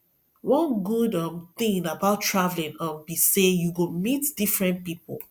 one good um thing about traveling um be say you go meet different people